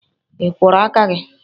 I kworo aka gi?